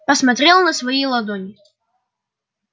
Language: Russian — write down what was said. посмотрел на свои ладони